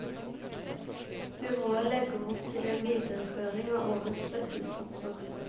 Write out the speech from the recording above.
Byrådet legger opp til en videreføring av årets støttesatser.